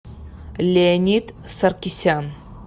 леонид саркисян